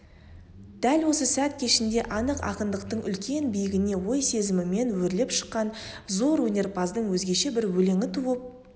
дәл осы сәт кешінде анық ақындықтың үлкен биігіне ой сезімімен өрлеп шыққан зор өнерпаздың өзгеше бір өлеңі туып